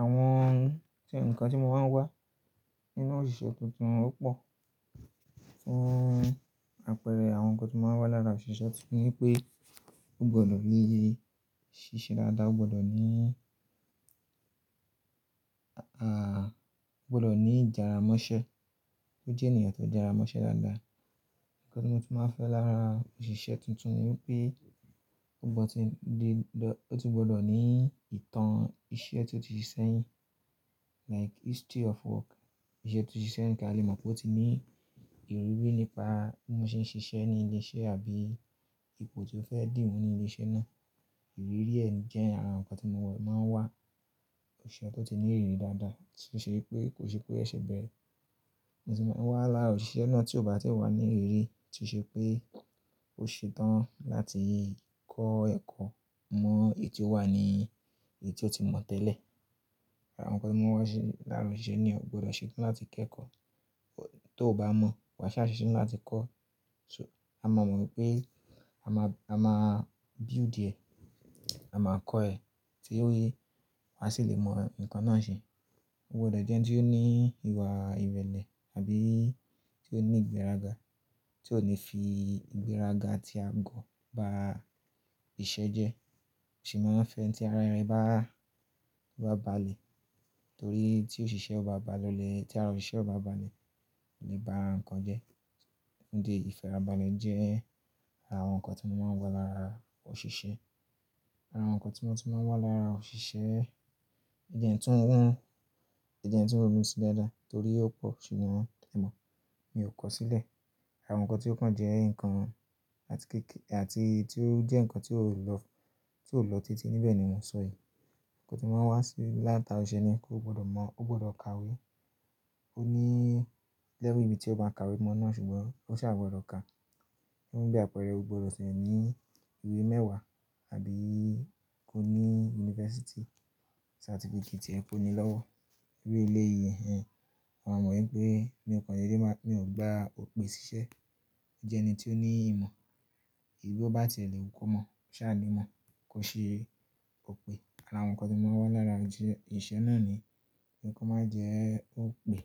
Àwọn ohun ǹkan tí mo máa ń wá nínú òṣìṣẹ́ tuntun ó pò. Fún apẹ̀rẹ̀ àwọn nǹkan ti máa ń wá lára òṣìṣẹ́ tuntun ni pé, ó gbọdọ̀ níye ṣíṣe dáadáa, ó gbọdọ̀ ní, aà, ó gbọdọ̀ ní ìjara mọ́ṣẹ́, kó jẹ́ ènìyàn tó jara mọ́ṣẹ́ dáadáa. Ǹkan tí mo tú máa ń fẹ́ lára òṣìṣẹ́ tuntun ni wipé ó gbọdọ̀-- ó tún gbọdọ̀ ní ìtàn iṣẹ́ tí ó ti ṣiṣẹ́ yín, like history of work, iṣẹ́ tó ti ṣiṣẹ́ ka lè mọ̀ pé ó ti ní ìrírí nípa bí mọ́n ṣe ń ṣiṣẹ́ ní ilé-iṣẹ́ àbí ipò tí ó fẹ́ dì mú ní ilé-iṣẹ́ náà. Ìrírí ẹ jẹ́ ara nǹkan tí mo wà máa ń wá. Òṣìṣẹ́ tó ti ní ìrírí dáadáa tó e ṣe pé kò ṣe pé o ṣese bẹ́ẹ̀re. Mo sì máa ń wá lára òṣìṣẹ́ náà tí ó bá ti wà ní ìrírí, tí ó ṣe pé ò ṣe tán láti kọ́ ẹ̀kọ́ mọ èyí tí ó wà ní èyí tí ó ti mọ̀ tẹ́lẹ̀. Àwọn nǹkan tí mo máa ń wá sí lára òṣìṣẹ́ ni ó gbọdọ̀ ṣe tán láti kẹ́kọ̀ọ́. Tó ò bá mọ̀, wà sá ṣeṣe ni láti kọ́. So, a máa mọ̀ wípé a máa, a máa build ẹ, a máa kọ́ ẹ tí ó yẹ á sì lè mọ nǹkan náà ṣe. Ó gbọdọ̀ jẹ́ ẹni tí ó ní ìwà ìrẹ̀lẹ̀ àbí tí ó ní ìgbéraga, tí ò ní fi ìgbéraga atí agọ́ ba iṣẹ́ jẹ́. Mosẹ́ máa ń fẹ́ ẹni tí ara rẹ̀ bá, tó bá balẹ̀ torí tí òṣìṣẹ́ ò bá balẹ̀, tí ara òṣìṣẹ́ ò bá balẹ̀, kò le bá nǹkan jẹ́. Nidì eyii ìfẹ́ra balẹ̀ jẹ́ ara àwọn nǹkan tí mo máa ń lára òṣìṣẹ́. Ara àwọn nǹkan tí mo tú máa ń wá lára òṣìṣẹ́ jẹ́ tun nn, jẹ́ tun ronu sí dáadáa torí ó pò, ṣùgbọ́n emo mi ò kọ sílẹ̀. Àwọn nǹkan tí ó kan jẹ́ nǹkan àti kékè, àti tí ó jẹ́ nǹkan tí ó lọ, tí ó lọ títí níbẹ̀ ni mò ń sọ yíi. Nǹkan tí màá ń wá sí láti ara òṣìṣẹ́ ni pé ó gbọdọ̀ mọ̀, ó gbọdọ̀ kàwé. Ó ní level ìbí tí ó máa kàwé mọ́ náà ṣùgbọ́n ó sà gbọdọ̀ kà. Funbi apẹ̀rẹ̀, ó gbọdọ̀ sì ní ìwé mẹ́wàá àbí kó ní University certificate tí ẹ kó ni lọ́wọ́. Ìru ilé-ìwé yẹn, máa mọ̀ wípé mi òko déédé ma, mi ò gba òpè ṣíṣẹ́. Ó jẹ́ ẹni tí ó ní ìmọ̀. Eyití ó bá ti e lèwu komọ̀, ṣa ni imọ̀, kò ṣe òpè. Ara àwọn nǹkan tí mo máa ń wá lára òṣìṣẹ́, oṣiṣẹ náà ni pé nǹkan má jẹ́ òpè.